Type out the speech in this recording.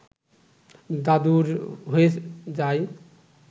দাদুর হয়ে যায়